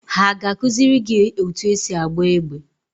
Ha ga-akụziri gị otú esi agba egbe?